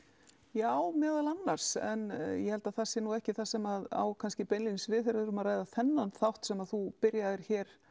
já meðal annars en ég held að það sé nú ekki það sem á beinlínis við þegar við erum að ræða þennan þátt sem þú byrjaðir